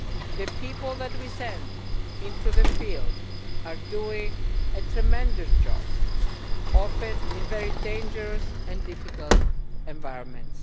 The people that we send into the field are doing a tremendous job often in very dangerous and difficult environments.